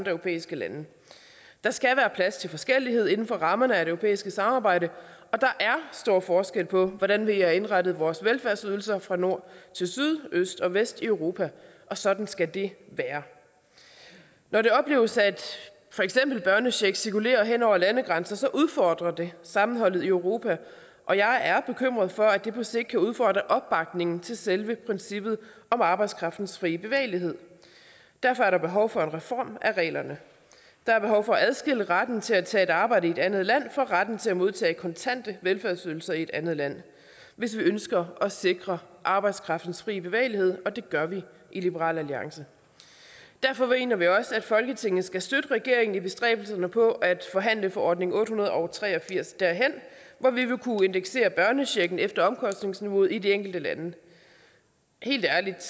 europæiske lande der skal være plads til forskellighed inden for rammerne af det europæiske samarbejde og der er stor forskel på hvordan vi har indrettet vores velfærdsydelser fra nord til syd øst og vest i europa og sådan skal det være når det opleves at for eksempel børnecheck cirkulerer hen over landegrænser udfordrer det sammenholdet i europa og jeg er bekymret for at det på sigt kan udfordre opbakningen til selve princippet om arbejdskraftens frie bevægelighed derfor er der behov for en reform af reglerne der er behov for at adskille retten til at tage arbejde i et andet land fra retten til at modtage kontante velfærdsydelser i et andet land hvis vi ønsker at sikre arbejdskraftens frie bevægelighed og det gør vi i liberal alliance derfor mener vi også at folketinget skal støtte regeringen i bestræbelserne på at forhandlet forordning otte hundrede og tre og firs derhen hvor vi vil kunne indeksere børnechecken efter omkostningsniveauet i de enkelte lande helt ærligt